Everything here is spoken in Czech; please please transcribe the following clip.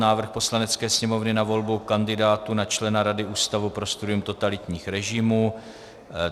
Návrh Poslanecké sněmovny na volbu kandidátů na člena Rady Ústavu pro studium totalitních režimů